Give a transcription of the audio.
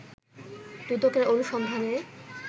দুদকের অনুসন্ধানে